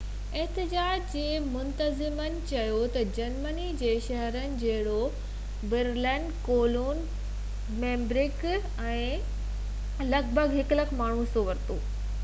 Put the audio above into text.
احتجاج جي منتظمن چيو تہ جرمني جي شهرن جهڙوڪ Berlin, Cologne, Hamburg ۽ Hanover ۾ لڳ ڀڳ 100،000 ماڻهن حصو ورتو